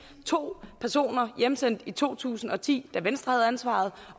to personer hjemsendt i to tusind og ti da venstre havde ansvaret